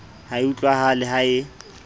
ha e utlwahale ha e